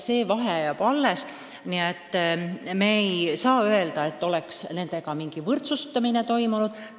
Vahe jääb alles, nii et ei ole õige öelda, et on mingi võrdsustamine toimunud.